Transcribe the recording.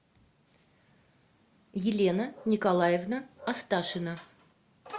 елена николаевна асташина